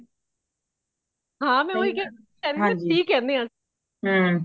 ਹਾ ,ਮੈ ਓਹੀ ਕਿਆ ਕੇਂਦੇ ਨਾ ਸੀ ਕੇਂਦੇ ਆਂ